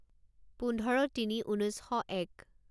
পোন্ধৰ তিনি ঊনৈছ শ এক